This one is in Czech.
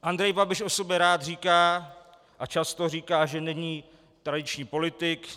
Andrej Babiš o sobě rád říká a často říká, že není tradiční politik.